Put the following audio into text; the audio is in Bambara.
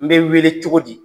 N be weele cogodi?